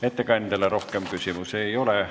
Ettekandjale rohkem küsimusi ei ole.